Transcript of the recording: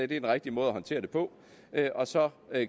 den rigtige måde at håndtere det på og så